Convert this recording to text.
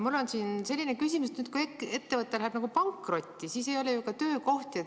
Mul on küsimus selle kohta, et kui ettevõte läheb pankrotti, siis ei ole ju ka töökohti.